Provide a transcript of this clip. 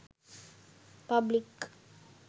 public